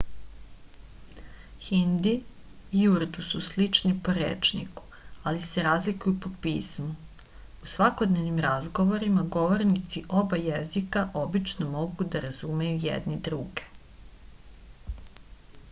hindi i urdu su slični po rečniku ali se razlikuju po pismu u svakodnevnim razgovorima govornici oba jezika obično mogu da razumeju jedni druge